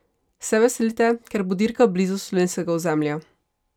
Se veselite, ker bo dirka blizu slovenskega ozemlja?